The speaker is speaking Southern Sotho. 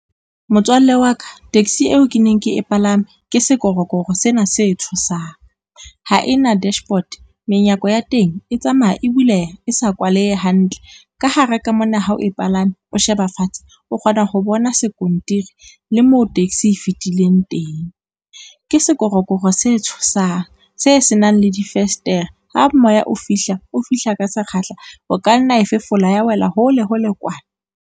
Motswalle wa ka, taxi eo ke neng ke e palame ke sekorokoro sena se tshosang, ha e na dashboard, menyako ya teng e tsamaya e buleha e sa kwalehe hantle, ka hare ka mona ha o palame o sheba fatshe o kgona ho bona skontiri le moo taxi e fetileng teng. Ke sekorokoro se tshosang se se nang le difestere ha moya o fihla o fihla ka sekgahla, o ka nna wa e fefola ya wela hole hole kwana.